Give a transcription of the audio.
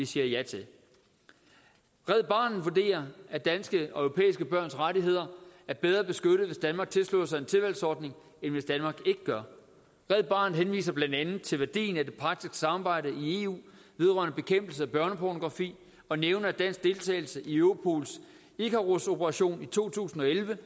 siger ja til red barnet vurderer at danske og europæiske børns rettigheder er bedre beskyttet hvis danmark tilslutter sig en tilvalgsordning end hvis danmark ikke gør red barnet henviser blandt andet til værdien af det praktiske samarbejde i eu vedrørende bekæmpelse af børnepornografi og nævner at dansk deltagelse i europols icarusoperation i to tusind og elleve